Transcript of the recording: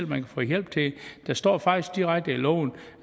man kan få hjælp til det der står faktisk direkte i loven